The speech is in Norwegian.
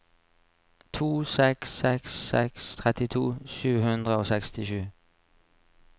to seks seks seks trettito sju hundre og sekstisju